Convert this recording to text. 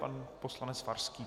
Pan poslanec Farský.